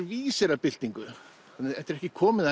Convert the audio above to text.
vísir að byltingu þetta er ekki komið að